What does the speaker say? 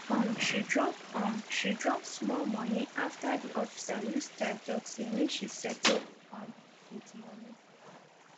um she drop um she drop small moni after di officer use style tok say make she settle um with moni